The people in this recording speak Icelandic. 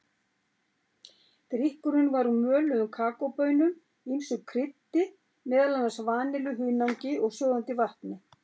Drykkurinn var úr möluðum kakóbaunum, ýmsu kryddi, meðal annars vanillu, hunangi og sjóðandi vatni.